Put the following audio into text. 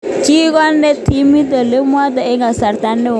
Kikonae timit olemakto eng kasarta neo.